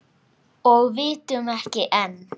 Og vitum ekki enn.